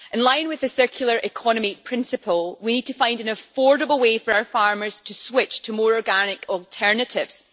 In line with the circular economy principle, we need to find an affordable way for our farmers to switch to more organic alternatives.